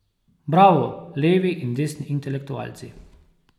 Bravo, levi in desni intelektualci.